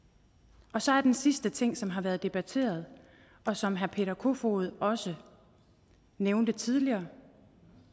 så er der den sidste ting som har været debatteret og som herre peter kofod også nævnte tidligere